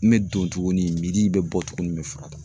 N bɛ don tuguni, n bɛ bɔ tuguni, n bɛ fura ta.